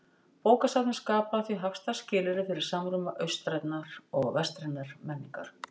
Bókasafnið skapaði því hagstæð skilyrði fyrir samruna austrænnar og vestrænnar menningar.